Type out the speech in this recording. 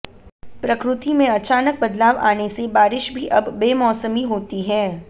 प्रकृति में अचानक बदलाव आने से बारिश भी अब बेमौसमी होती है